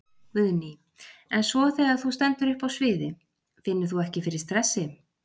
Guðný: En svo þegar að þú stendur uppi á sviði, finnur þú ekki fyrir stressi?